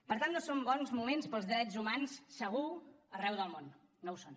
per tant no són bons moments per als drets humans segur arreu del món no ho són